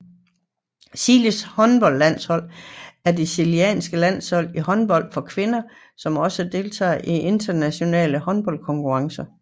Chiles håndboldlandshold er det chilenske landshold i håndbold for kvinder som også deltager i internationale håndboldkonkurrencer